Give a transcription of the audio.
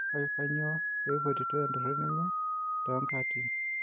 Kake kanyoo peipotitoi entoroni enye tonkaatin